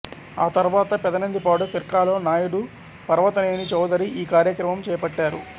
ఆ తరువాత పెదనందిపాడు ఫిర్కాలో నాయుదు పర్వతనేని చౌదరి ఈ కార్యక్రమం చేపట్టారు